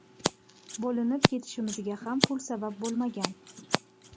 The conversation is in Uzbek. Bo‘linib ketishimizga ham pul sabab bo‘lmagan.